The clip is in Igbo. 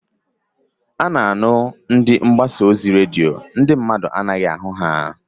A na-anụ ndị mgbasa ozi redio, ndị mmadụ anaghị ahụ ya.